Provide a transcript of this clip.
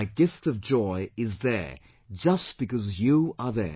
My gift of joy is there just because you are there